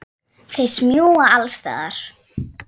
Þeir smjúga alls staðar.